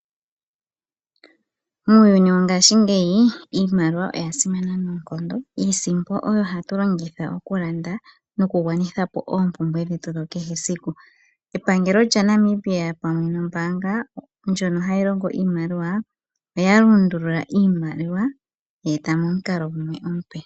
Muuyuni wo ngashingeyi, iimaliwa oya simana noonkondo. Iisimpo oyo ha tu longitha oku landa nokugwa nitha po oompumbwe dhetu dha kehe esiku. Epangelo lya Namibia pamwe nombaanga ndjono hayi longo iimaliwa oya lundulula iimaliwa ye yeeta momukalo gumwe omupe.